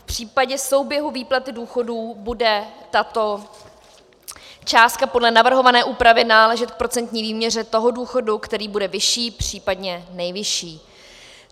V případě souběhu výplaty důchodů bude tato částka podle navrhované úpravy náležet k procentní výměře toho důchodu, který bude vyšší, případně nejvyšší.